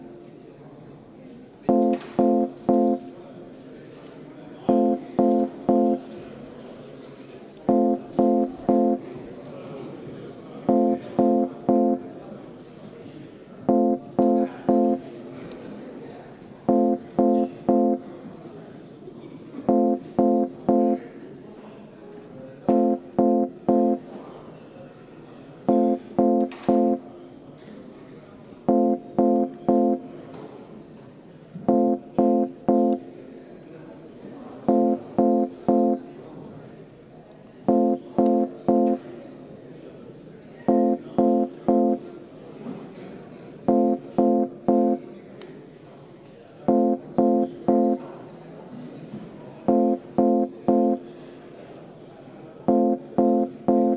Palun, hääletame Aivar Sõerdi ettepanekut!